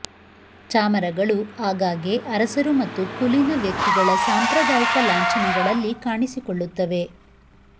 ಚಾಮರಗಳು ಆಗಾಗ್ಗೆ ಅರಸರು ಮತ್ತು ಕುಲೀನ ವ್ಯಕ್ತಿಗಳ ಸಾಂಪ್ರದಾಯಿಕ ಲಾಂಛನಗಳಲ್ಲಿ ಕಾಣಿಸಿಕೊಳ್ಳುತ್ತವೆ